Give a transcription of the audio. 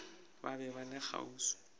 ba be ba le kgauswi